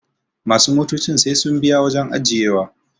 masu motocin sai sun biya wajen ajiyewa